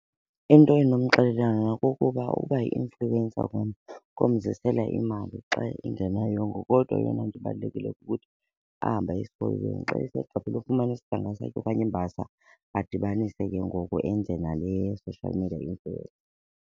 Into endinomxelela yona kukuba ukuba yi-influencer kona komzisela imali xa engenayongo kodwa eyona nto ibalulekileyo kukuthi ahambe aye esikolweni. Xa esegqibile ufumana isidanga sakhe okanye imbasa adibanise ke ngoku enze nale social media influence.